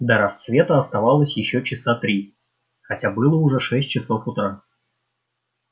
до рассвета оставалось ещё часа три хотя было уже шесть часов утра